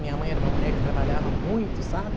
Minha mãe era uma mulher que trabalhava muito, sabe?